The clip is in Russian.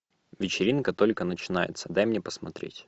вечеринка только начинается дай мне посмотреть